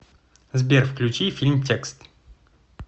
сбер включи фильм текст